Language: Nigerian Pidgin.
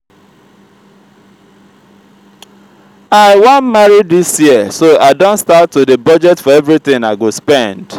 i wan marry dis year so i don start to dey budget for everything i go spend